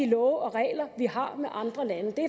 love og regler vi har med andre lande det